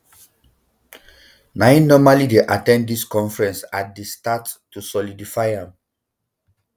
na im normally dey at ten d dis conferences at di start to solidify am